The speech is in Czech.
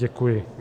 Děkuji.